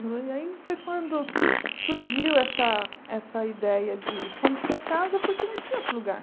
E aí foi quando surgiu essa essa ideia de fomos para casa porque não tinha outro lugar.